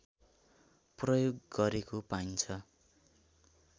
प्रयोग गरेको पाइन्छ